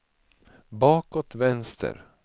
bakåt vänster